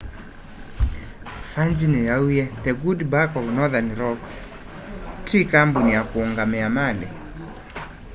virgin yauwie the good bank of northern rock ti kambuni ya kũungamia mali